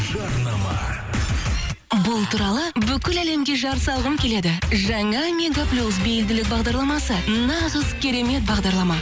жарнама бұл туралы бүкіл әлемге жар салғым келеді жаңа мегаплюс белгілеу бағдарламасы нағыз керемет бағдарлама